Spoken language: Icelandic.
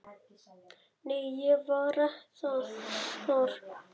Nei, ég var þar